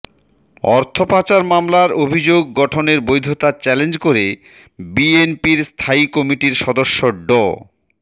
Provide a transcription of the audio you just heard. অর্থপাচার মামলার অভিযোগ গঠনের বৈধতা চ্যালেঞ্জ করে বিএনপির স্থায়ী কমিটির সদস্য ড